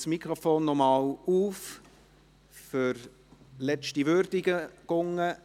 Ich öffne das Mikrofon für letzte Würdigungen.